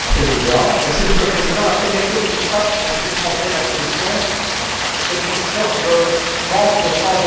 Monsieur le Président, la première chose qui me frappe, Messieurs du Conseil et de la Commission, c'est une sorte de manque de sens de l'urgence.